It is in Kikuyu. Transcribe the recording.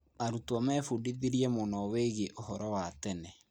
Arutwo mebundithirĩe mũno wĩgiĩ ũhoro wa tene.